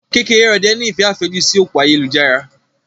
Kekereode ní ìfẹ́ àfẹ́jù sí òpó ayélujára.